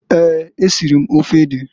Eeǃ Esiri m ofe ede.